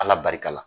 Ala barika la